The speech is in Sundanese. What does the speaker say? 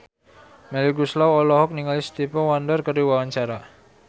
Melly Goeslaw olohok ningali Stevie Wonder keur diwawancara